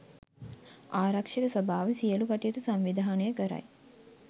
ආරක්ෂක සභාව සියලු කටයුතු සංවිධානය කරයි